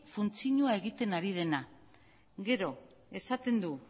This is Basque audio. funtzioa egiten ari dena gero esaten du